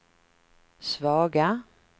svaga